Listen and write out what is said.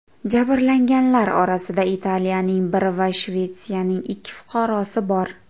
Jabrlanganlar orasida Italiyaning bir va Shvetsiyaning ikki fuqarosi bor.